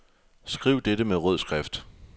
Skriv dette med rød skrift.